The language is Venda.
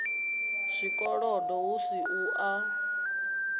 zwikolodo hu si u a